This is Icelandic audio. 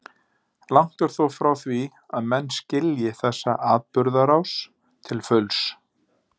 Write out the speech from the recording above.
Langt er þó frá því að menn skilji þessa atburðarás til fulls.